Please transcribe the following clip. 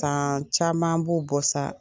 caman b'o bɔ sa.